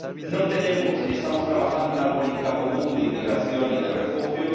No tenemos, ni estamos trabajando en una política común de inmigración y de asilo.